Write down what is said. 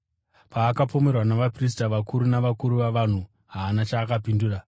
Paakapomerwa navaprista vakuru navakuru vavanhu, haana chaakapindura.